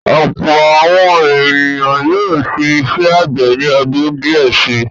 Ọ̀pọ̀ àwọn ènìyàn yóò ṣe iṣẹ́ àgbẹ̀ ni ọdún díẹ̀ si.